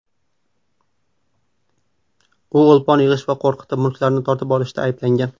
U o‘lpon yig‘ish va qo‘rqitib, mulklarni tortib olishda ayblangan.